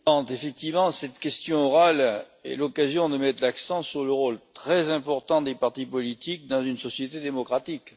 Madame la Présidente, effectivement cette question orale est l'occasion de mettre l'accent sur le rôle très important des partis politiques dans une société démocratique.